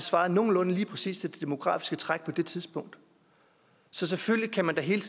svarede nogenlunde lige præcis til det demografiske træk på det tidspunkt så selvfølgelig kan man da hele